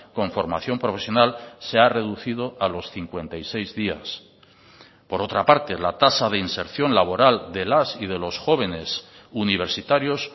con formación profesional se ha reducido a los cincuenta y seis días por otra parte la tasa de inserción laboral de las y de los jóvenes universitarios